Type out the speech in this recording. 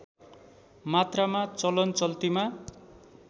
मात्रामा चलनचल्तीमा